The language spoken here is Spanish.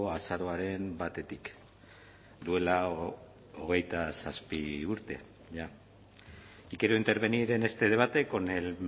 azaroaren batetik duela hogeita zazpi urte jada y quiero intervenir en este debate con el